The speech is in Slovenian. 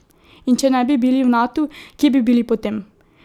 In če ne bi bili v Natu, kje bi bili potem?